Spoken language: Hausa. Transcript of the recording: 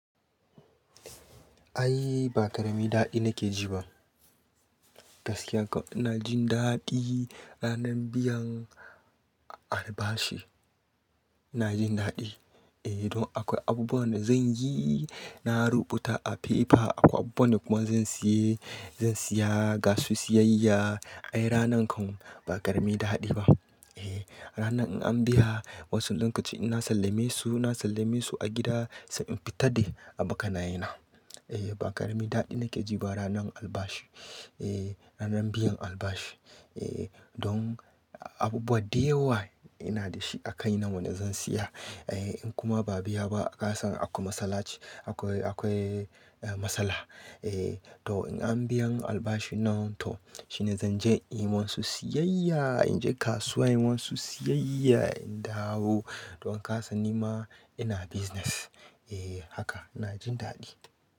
Ai ba ƙarami daɗi nake ji ba. Gaskiya kau, ina jin daɗi ranar biyan albashi. Ina jin daɗi. Eh, don akwai abubuwan da zan yi, na rubuta a fefa akwai abubuwan da kuma zan siye, zan siya, gasu siyayya. Ai ranan kan ba ƙaramin daɗi ba. Eh, ranar in an biya, wasu lokaci ina sallame su, na sallame su a gida sai in fita da abokanaina. Eh, ba ƙaramin daɗi nake ji ba ranar albashi. Eh, ranar biyan albashi. Eh, don abubuwa da yawa ina da shi a kai nan wanda zan siya. Eh, in kuma ba biya ba, ka san akwai matsalace, akwai, akwai eh, matsala. Eh, to in an biyan albashi nan toh shine zan je yi musu siyayya, in je kasuwa yi musu siyayya, in dawo. Don ka san ni ma ina business. Eh haka ina jin daɗi.